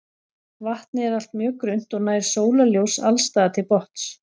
Vatnið er allt mjög grunnt og nær sólarljós alls staðar til botns.